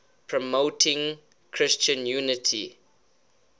promoting christian unity